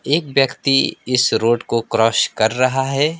एक व्यक्ति इस रोड को क्रॉस कर रहा है।